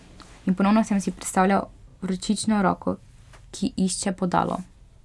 In ponovno sem si predstavljal vročično roko, ki išče bodalo.